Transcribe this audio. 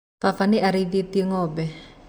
Baba nĩ arĩithĩtie Ngombe.